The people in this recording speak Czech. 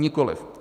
Nikoliv.